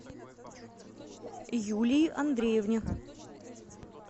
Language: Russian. юлии андреевне